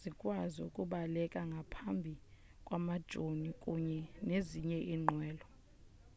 zikwazi ukubaleka ngaphambi kwamajoni kunye nezinye iinqwelo